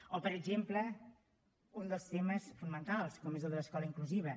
o per exemple un dels temes fonamentals com és el de l’escola inclusiva